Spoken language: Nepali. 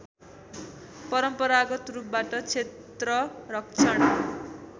परम्परागत रूपबाट क्षेत्ररक्षण